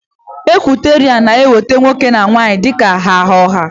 Ikwọliterian na-ewepụta nwoke na nwaanyị dika ha ọha.